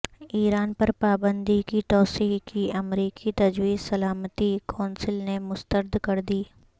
ایران پر پابندی کی توسیع کی امریکی تجویز سلامتی کونسل نے مسترد کردی